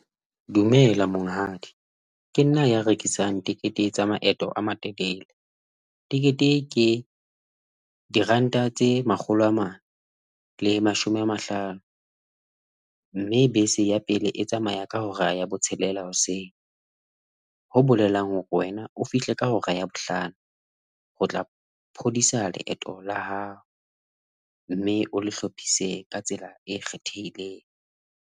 Dumela Monghadi. Ke nna ya rekisang tekete tsa maeto a matelele. Tekete ke diranta tse makgolo a mane le mashome a mahlano, mme bese ya pele e tsamaya ka hora ya botshelela hoseng, ho bolelang hore wena o fihle ka hora ya bohlano ho tla phodisa leeto la hao mme o le hlopise ka tsela e kgethehileng.